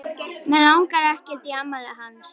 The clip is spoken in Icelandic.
Mig langar ekkert í afmælið hans.